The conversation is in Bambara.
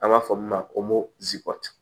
An b'a fɔ min ma ko